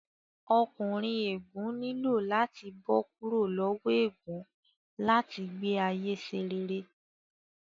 Ọkùnrin ègún nílò láti bó kúrò lowo ègún láti gbé ayé ṣe rere